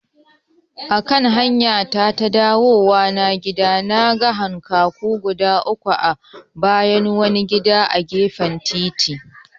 Akan hamyata ta dawowa gida, naga hankaku guda uku a bayan wani gida a gefen titi.